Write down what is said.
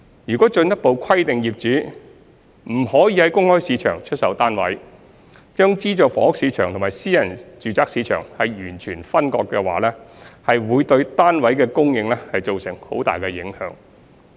若進一步規定業主不得在公開市場出售單位，將資助房屋市場和私人住宅市場完全分割，會對單位的供應造成很大的影響。